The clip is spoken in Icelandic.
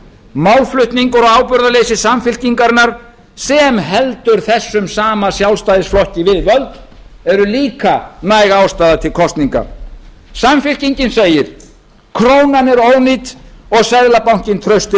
málflutningur og ábyrgðarleysi samfylkingarinnar sem heldur þessum sama sjálfstæðisflokki við völd er líka næg ástæða til kosninga samfylkingin segir krónan er ónýt og seðlabankinn trausti